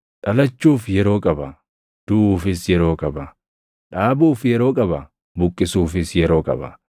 Dhalachuuf yeroo qaba; duʼuufis yeroo qaba; dhaabuuf yeroo qaba; buqqisuufis yeroo qaba;